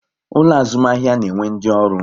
Ulo azumahia na-enwe ndi oru